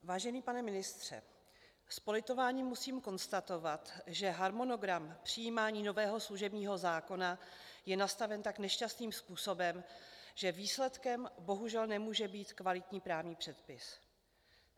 Vážený pane ministře, s politováním musím konstatovat, že harmonogram přijímání nového služebního zákona je nastaven tak nešťastným způsobem, že výsledkem bohužel nemůže být kvalitní právní předpis.